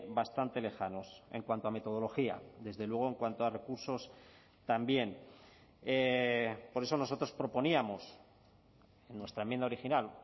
bastante lejanos en cuanto a metodología desde luego en cuanto a recursos también por eso nosotros proponíamos en nuestra enmienda original